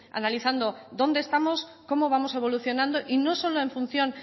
analizando dónde estamos cómo vamos evolucionando y no solo en función